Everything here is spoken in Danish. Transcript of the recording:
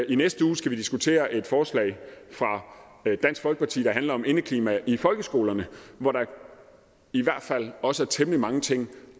i næste uge skal vi diskutere et forslag fra dansk folkeparti der handler om indeklima i folkeskolerne hvor der i hvert fald også er temmelig mange ting